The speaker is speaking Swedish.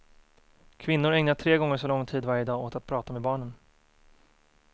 Kvinnor ägnar tre gånger så lång tid varje dag åt att prata med barnen.